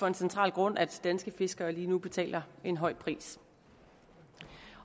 en central grund at danske fiskere lige nu betaler en høj pris